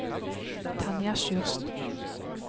Tanja Sjursen